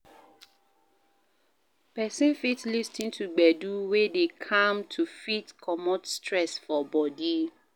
Person fit lis ten to gbedu wey dey calm to fit comot stress for body